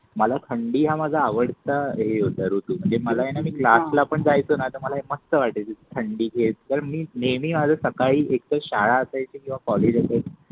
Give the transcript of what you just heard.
मला थंडी हा माझा आवडटा हे होता ऋतू म्हणजे मला आहे न क्लास पण जायचे आहे न मला फक्त वाटायचे थंडी ची वेळ कारण मी नेहमी माझ सकाळी एक त श्याळा असायची किवा कॉलेज असे